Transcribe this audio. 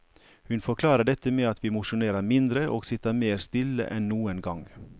Hun forklarer dette med at vi mosjonerer mindre og sitter mer stille enn noen gang.